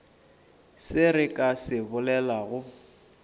se re ka se bolelago